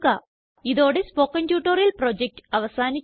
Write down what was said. ഇതോടെ spoken tutorial project അവസാനിച്ചു